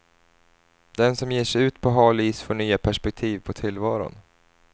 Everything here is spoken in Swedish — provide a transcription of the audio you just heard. Den som ger sig ut på hal is får nya perspektiv på tillvaron.